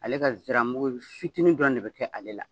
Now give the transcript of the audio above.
Ale ka ziramugu fitinin dɔrɔn de be kɛ ale la.